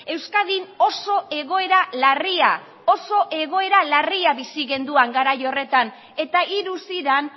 euskadin oso egoera larria oso egoera larria bizi genuen garai horretan eta hiru ziren